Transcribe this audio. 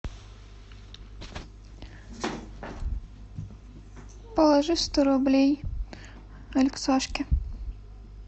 положи сто рублей алексашке